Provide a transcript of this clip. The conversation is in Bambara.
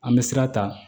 An bɛ sira ta